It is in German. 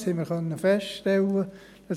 Das haben wir feststellen können.